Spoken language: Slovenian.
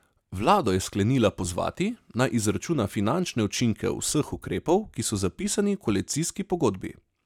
Vlado je sklenila pozvati, naj izračuna finančne učinke vseh ukrepov, ki so zapisani v koalicijski pogodbi.